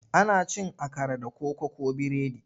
Ana cin akara da koko ko biredi.